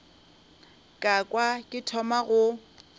ka kwa ke thoma go